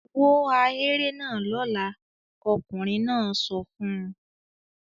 "Wó ahéré náà lọ́la!" Ọkùnrin náà sọ fún un.